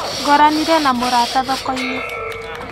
Ngoranire na mũrata thokoinĩ.